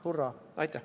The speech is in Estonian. Hurraa!